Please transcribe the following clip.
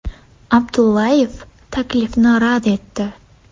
Abdullayev taklifni rad etdi.